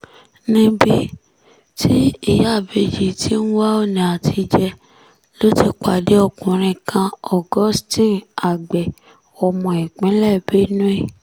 níbi tí ìyáábéjì ti ń wá ọ̀nà àtijẹ ló ti pàdé ọkùnrin kan augustine agbe ọmọ ìpínlẹ̀ benue